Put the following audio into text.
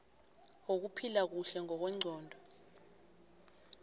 wokuphila kuhle ngokwengqondo